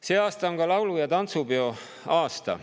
See aasta on laulu‑ ja tantsupeo aasta.